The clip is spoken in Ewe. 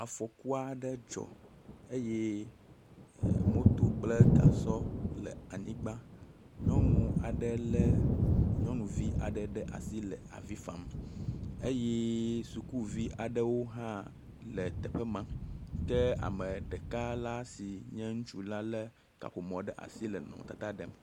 Afɔku aɖe dzɔ eye e moto kple gasɔ le anyigba. Nyɔnu aɖe lé nyɔnuvi aɖe ɖe asi hele avi fam eye sukuvi aɖewo hã le teƒe ma ke ame ɖeka la si nye ŋutsu la ɖe kaƒomɔ ɖe asi le nɔnɔmetata ɖem.